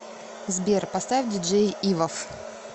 сбер поставь диджей ивов